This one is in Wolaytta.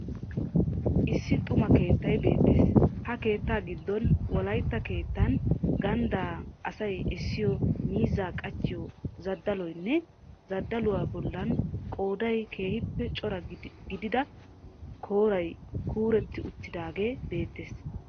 Issi xuma keettay beettees. Ha keettaa gidon wolaytta keettan ganddan asay essiyo miizzaa qachchiyo zadaloynne zadaluwaa bollan qooday keehiippe cora gidida koray kuuretti uttidaagee beettees.